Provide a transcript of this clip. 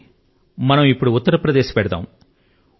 రండి మనం ఉత్తర్ ప్రదేశ్ కు వెళ్దాము